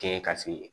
Kɛɲɛ ka se